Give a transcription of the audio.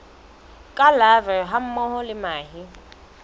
tsa larvae hammoho le mahe